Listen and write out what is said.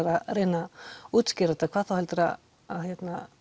að reyna að útskýra þetta hvað þá heldur að